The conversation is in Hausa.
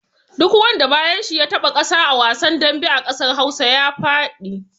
Duk wanda bayan shi ya taɓa ƙasa a wasan dambe a ƙasar Hausa ya faɗi.